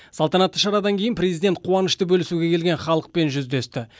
салтанатты шарадан кейін президент қуанышты бөлісуге келген халықпен жүздесті